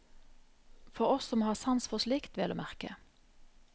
For oss som har sans for slikt, vel å merke.